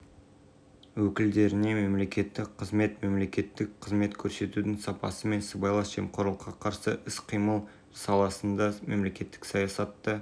агенттік төрағасы қайрат қожамжаров қоғамдық кеңестің агенттік қызметіндегі рөлі маңызды екенін атап өтті себебі азаматтық қоғам